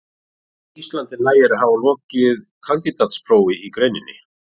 Á Íslandi nægir að hafa lokið kandídatsprófi í greininni.